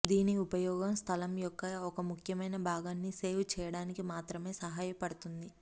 దీని ఉపయోగం స్థలం యొక్క ఒక ముఖ్యమైన భాగాన్ని సేవ్ చేయడానికి మాత్రమే సహాయపడుతుంది